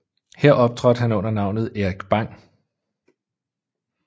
Her optrådte han under navnet Erik Bang